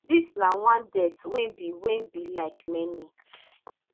dis na one death wey be wey be like many